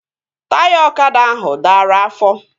Taya ọkada ahụ dara afọ